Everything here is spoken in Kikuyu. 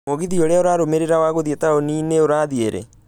mũgithi urĩa ĩrarumĩrĩira wa gũthiĩ taũni-inĩ urathiĩ rĩ